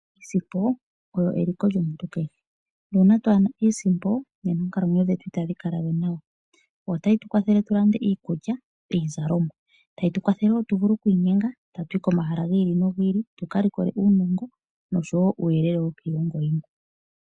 Iisimpo oyo eliko lyomuntu kehe nuuna twaana iisimpo nena oonkalamwenyo dhetu itadhi kalawe nawa . Oyo tayi tu kwathele tulande iikulya, iizalomwa. Tayi tu kwathele woo tuvule oku inyenga tatu yi komahala gi ili no gi ili tuka likole uunongo nosho woo uuyelele wokiilongo yilwe.